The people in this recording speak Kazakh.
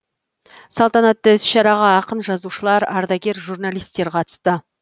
салтанатты іс шараға ақын жазушылар ардагер журналистер қатысты